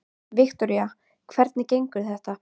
Viktoría: Hvernig gengur þetta?